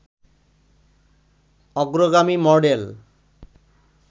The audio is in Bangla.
অগ্রগামী মডেল